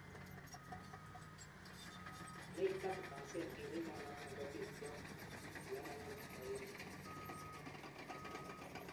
Nekit 30% eng emonotok kokitwaa palananok po emeet